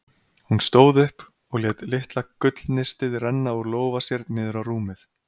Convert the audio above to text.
Hún stóð upp og lét litla gullnistið renna úr lófa sér niður á rúmið.